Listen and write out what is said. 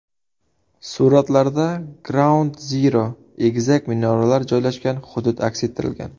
Suratlarda Graund-Ziro egizak minoralar joylashgan hudud aks ettirilgan.